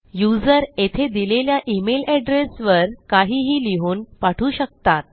user येथे दिलेल्या email address वर काहीही लिहून पाठवू शकतात